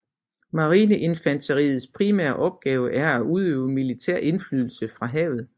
Marineinfanteriets primære opgave er at udøve militær indflydelse fra havet